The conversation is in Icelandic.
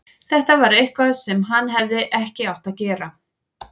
Þetta var eitthvað sem hann hefði ekki átt að gera.